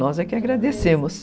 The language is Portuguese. Nós é que agradecemos.